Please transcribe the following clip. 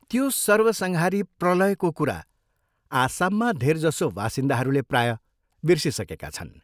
त्यो सर्वसंहारी प्रलयको कुरा आसाममा धेरजसो वासिन्दाहरूले प्रायः बिर्सिसकेका छन्।